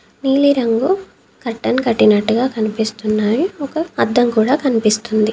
నీలిరంగు కర్టెన్ కట్టినట్టుగా కనిపిస్తున్నాయి ఒక అద్దం కూడా కన్పిస్తుంది.